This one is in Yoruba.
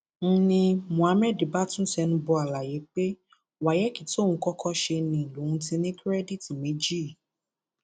n ní muhammed bá tún tẹnu bọ àlàyé pé wáyéèkì tóun kọkọ ṣe ni lòún ti ní kìrèdíìtì méjì yìí